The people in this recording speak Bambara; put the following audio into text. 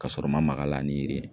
Ka sɔrɔ n ma maga a la